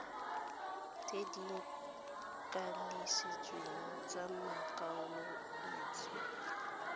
tse di kanisitsweng tsa makwaloitshupo